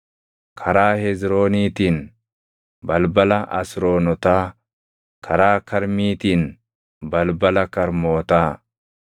karaa Hezrooniitiin, balbala Asroonotaa; karaa Karmiitiin, balbala Karmootaa.